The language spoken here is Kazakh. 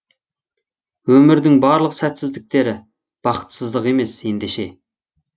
өмірдің барлық сәтсіздіктері бақытсыздық емес ендеше